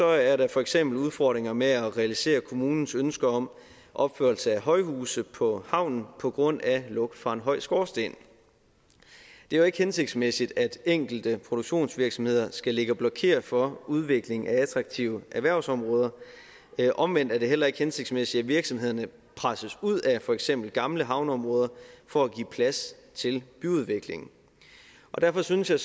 er der for eksempel udfordringer med at realisere kommunens ønske om opførelse af højhuse på havnen på grund af lugt fra en høj skorsten det er jo ikke hensigtsmæssigt at enkelte produktionsvirksomheder skal ligge og blokere for udvikling af attraktive erhvervsområder omvendt er det heller ikke hensigtsmæssigt at virksomhederne presses ud af for eksempel gamle havneområder for at give plads til byudvikling derfor synes jeg